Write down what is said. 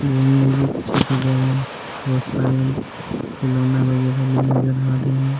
बहुत सारे खिलौने वगेरा नजर आ रहे है।